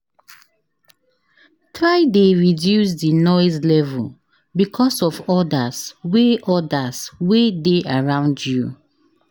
Try de reduce di noise level because of others wey others wey de around you